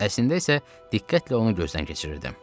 Əslində isə diqqətlə onu gözdən keçirirdim.